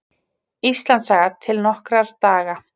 Íslandssaga: til okkar daga.